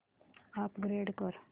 upgrade कर